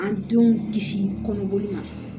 An denw kisi kɔnɔboli ma